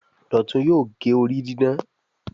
Dọtun yóò gé orí didán